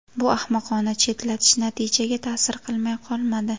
Bu ahmoqona chetlatish natijaga ta’sir qilmay qolmadi.